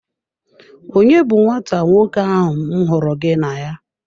Onye bu nwata nwoke ahụ m hụrụ gị na ya?